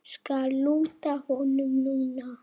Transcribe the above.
Skal lúta honum núna.